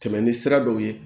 Tɛmɛn ni sira dɔw ye